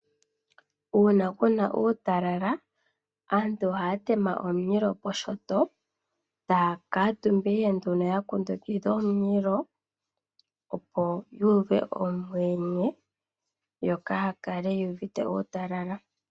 Uuna kuna uutalala aantu ohaya tema omulilo poshinyanga taya kuutumba ihe yakundukidha omililo, opo yuuve omweenye yo kaya kale yuuvite uutalala.